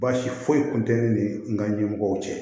Baasi foyi kun tɛ ne ni n ka ɲɛmɔgɔw cɛ